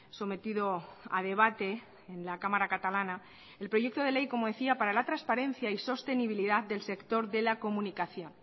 sometido a debate en la cámara catalana el proyecto de ley como decía para la transparencia y sostenibilidad del sector de la comunicación